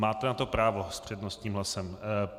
Máte na to právo s přednostním hlasem.